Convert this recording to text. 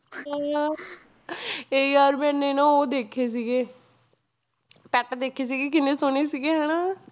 ਹਾਂ ਯਾਰ ਮੈਨੇ ਨਾ ਉਹ ਦੇਖੇ ਸੀਗੇ set ਦੇਖੇ ਸੀਗੇ ਕਿੰਨੇ ਸੋਹਣੇ ਸੀਗੇ ਹਨਾ